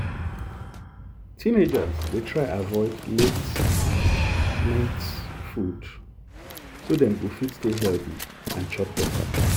teenagers dey try avoid late-night food so dem go fit stay healthy and chop better.